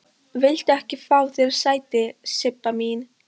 Viltu ekki fá þér sæti, Sibba mín?